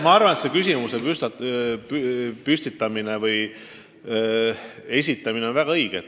Ma arvan, et selle küsimuse esitamine on väga õige.